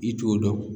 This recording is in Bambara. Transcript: I t'o dɔn